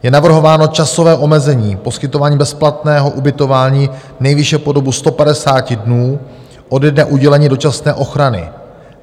Je navrhováno časové omezení poskytování bezplatného ubytování nejvýše po dobu 150 dnů ode dne udělení dočasné ochrany.